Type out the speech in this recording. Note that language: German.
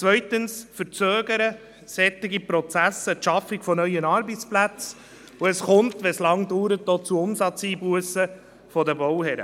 Zweitens verzögern solche Prozesse die Schaffung von neuen Arbeitsplätzen, und es kommt, wenn es lange dauert, auch zu Umsatzeinbussen bei den Bauherren.